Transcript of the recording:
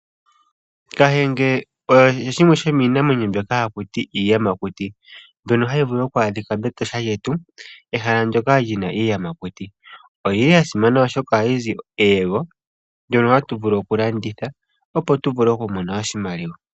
Kahenge osho shimwe shomiinamwenyo mbyoka haku ti iiyamakuti ndhono hadhi vulu oku adhika meEtosha lyetu, ehala ndoka lyina iiyamakuti. Oyili ya simana oshoka ohayi zi eyego ndono hatu vulu oku landitha, opo tu mone oshimaliwa.